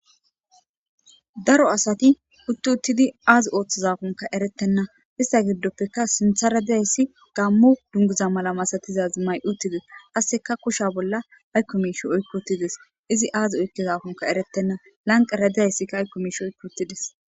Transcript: daro asati huttu uttidi aazi ooththozakonka eretenna ista giddoppeka sintha radiyayssi gammo dunguza mala masatizazi may7utides qasseka kusha bolla aykko miish oykkotides izi aazi oykkezakonka eretenna lanqa radiyayssikka aykko miish oykkotides